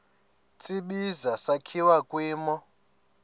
tsibizi sakhiwa kwimo